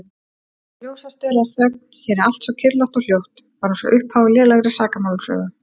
Ljósastaurar, þögn, hér er allt svo kyrrlátt og hljótt, bara einsog upphaf á lélegri sakamálasögu.